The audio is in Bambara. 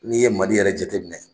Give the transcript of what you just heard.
N'i ye Mali yɛrɛ jateminɛ